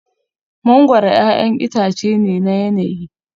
Mangoro 'ya'yan itace ne na yanayi